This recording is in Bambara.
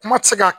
Kuma tɛ se ka